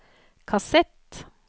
kassett